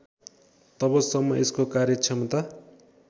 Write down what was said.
तबसम्म यसको कार्यक्षमता